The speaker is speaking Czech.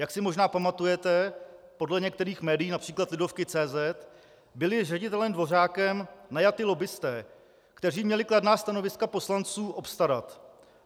Jak si možná pamatujete, podle některých médií, například Lidovky.cz, byli ředitelem Dvořákem najati lobbisté, kteří měli kladná stanoviska poslanců obstarat.